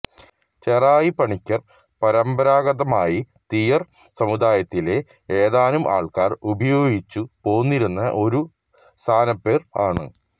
ചെറായി പണിക്കർ പരമ്പരാഗതമായി തീയർ സമുദായത്തിലെ ഏതാനും ആൾക്കാർ ഉപയോഗിച്ചു പോന്നിരുന്ന ഒരു സ്ഥാനപ്പേർ ആണ്